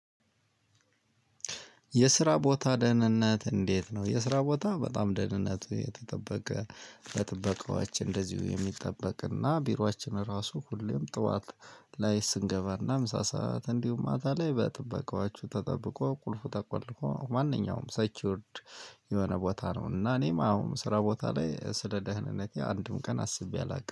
የስራ ቦታ ደህንነት እንዴት ነው? የስራ ቦታ በጣም ደህንነቱ የተጠበቀ በጥበቃዎች እንደዚሁ የሚጠበቅና ቢሯችን ራሱ ሁሌም ጠዋት ላይ ስንገባና ምሳ ሰዓት እንዲሁም ማታ ላይ በጥበቃዎቹ ተጠብቆ ቁልፉ ተቆልፎ ማንኛውም ሴኪይወርድ የሆነ ቦታ ነው። እና እኔም አሁን ስራ ቦታ ላይ ስለ ደህንነቴ አንድም ቀን አስቤ አላውቅም